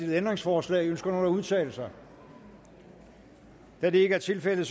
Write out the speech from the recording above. ændringsforslag ønsker nogen at udtale sig da det ikke er tilfældet